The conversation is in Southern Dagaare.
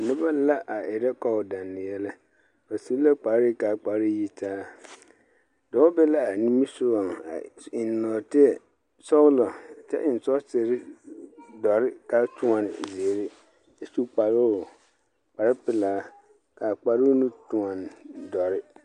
Noba la a erԑ kͻͻ-dԑnne yԑlԑ. ba su la kpare ka a kpare yitaa. Dͻͻ be la a nimisogͻŋ a eŋ nͻͻteԑ sͻgelͻ kyԑ eŋ sͻgesere dͻre ka tõͻne zeere kyԑ su kparoo kpare pelaa, ka a kparoo nu tõͻne dͻre.